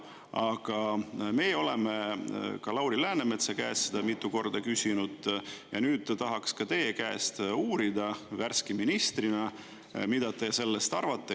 Aga me oleme ka Lauri Läänemetsa käest mitu korda küsinud ja nüüd ta tahaks ka teie käest uurida, mida te sellest värske ministrina arvate?